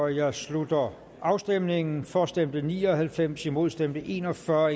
jeg slutter afstemningen for stemte ni og halvfems imod stemte en og fyrre